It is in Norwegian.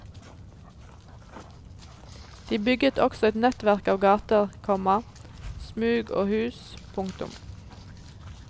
De bygget også et nettverk av gater, komma smug og hus. punktum